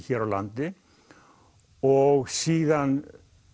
hér á landi og síðan